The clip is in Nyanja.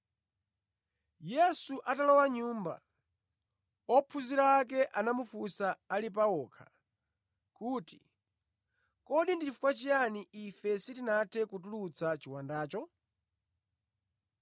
Yesu atalowa mʼnyumba, ophunzira ake anamufunsa ali pa okha kuti, “Kodi ndi chifukwa chiyani ife sitinathe kutulutsa chiwandacho?”